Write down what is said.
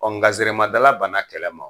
nga banna kɛlɛ ma